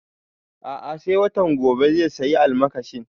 A'a sai watan gobe zai saya almakashin